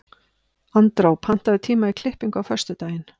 Andrá, pantaðu tíma í klippingu á föstudaginn.